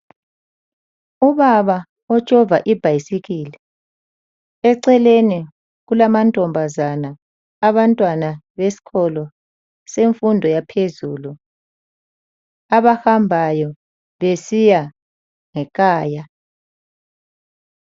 Ubaba otshova ibhayisikili. Eceleni kulamantombazana, abantwana besiko semfundo yaphezulu abahambayo besiya ngekhaya.